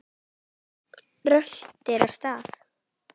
Röltir af stað.